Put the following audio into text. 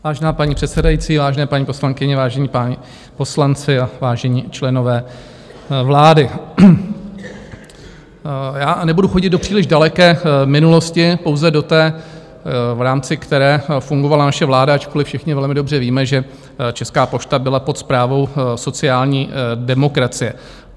Vážená paní předsedající, vážené, paní poslankyně, vážení páni poslanci a vážení členové vlády, já nebudu chodit do příliš daleké minulosti, pouze do té, v rámci které fungovala naše vláda, ačkoliv všichni velmi dobře víme, že Česká pošta byla pod správou sociální demokracie.